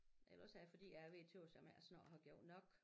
Ellers er det fordi jeg er ved at tøs om jeg ikke snart har gjort nok